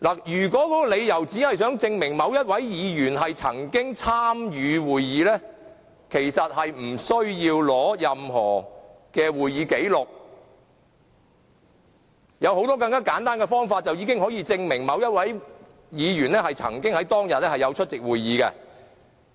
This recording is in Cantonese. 如果只是想證明某位議員曾經參與會議，其實並不需要取得任何會議紀錄，有很多更簡單的方法已足以證明某位議員曾經在當天出席會議。